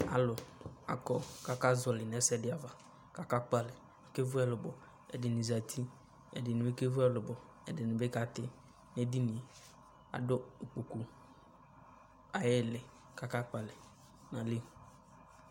Alu akɔ ka akazɔli nɛ ɛsɛdi aʋa Ka aka kpalɛ, aké vu ɛlubɔ, ɛdini zati, ɛdini bi ké vu ɛlubɔ, ɛdini bi kati nu edinyé Adu ikpokpu ayili ka aka kpalɛ nali